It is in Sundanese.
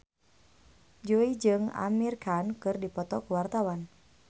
Jui jeung Amir Khan keur dipoto ku wartawan